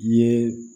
Ye